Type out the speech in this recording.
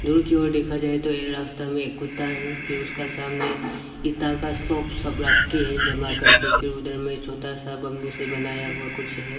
दूर की ओर देखा जाये तो ये रास्ता में एक कुत्ता है फिर उसका सामने इटा का स्लॉप सब रख के है जमा करके फिर उधर में छोटा सा बैंबू से बनाया हुआ कुछ है।